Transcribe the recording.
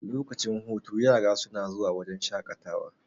lokacin hutu yara suna zuwa wajen shaƙatawa